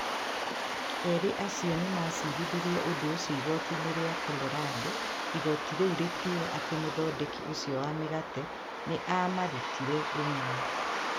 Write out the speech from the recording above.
Eerĩ acio nĩ maacirithirie ũndũ ũcio igooti-inĩ rĩa Colorado. Igooti rĩu rĩkiuga atĩ mũthondeki ũcio wa mĩgate nĩ aamarutire rũmena.